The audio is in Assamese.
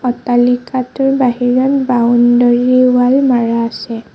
অট্টালিকাটোৰ বাহিৰত বাউণ্ডৰি ৱাল মাৰা আছে।